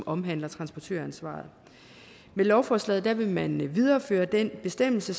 omhandler transportøransvaret med lovforslaget vil man videreføre den bestemmelse